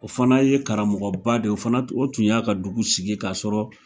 O fana ye karamɔgɔba de, o fana o tun y'a ka dugu sigi k'a sɔrɔ,